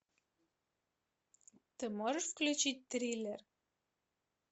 ты можешь включить триллер